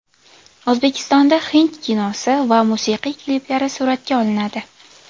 O‘zbekistonda hind kinosi va musiqiy kliplari suratga olinadi.